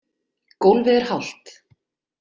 Gólfið er hált.